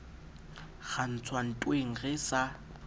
ra ntswa ntweng re se